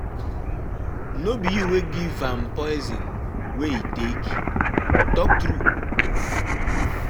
No be you wey give am poison wey he take? Talk true